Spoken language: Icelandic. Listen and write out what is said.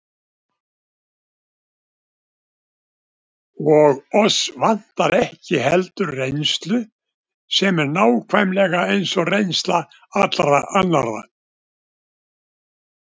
Og oss vantar ekki heldur reynslu, sem er nákvæmlega eins og reynsla allra annarra.